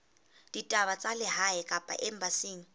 ditaba tsa lehae kapa embasing